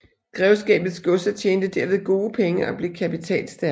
Grevskabets godser tjente derved gode penge og blev kapitalstærke